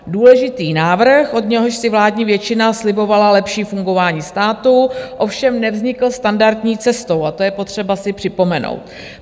Důležitý návrh, od něhož si vládní většina slibovala lepší fungování státu, ovšem nevznikl standardní cestou a to je potřeba si připomenout.